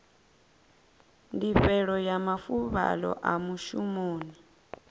ndifhelo ya mafuvhalo a mushumoni